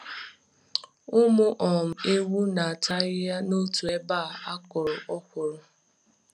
Ụmụ um ewu na-ata ahịhịa n'otu ebe a kụrụ okwuru.